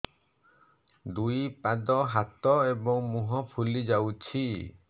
ଦୁଇ ପାଦ ହାତ ଏବଂ ମୁହଁ ଫୁଲି ଯାଉଛି